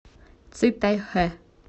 цитайхэ